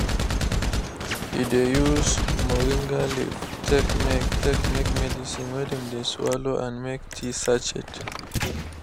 he de use moringa leave take make take make medicine wey dem de swallow and make tea sachet.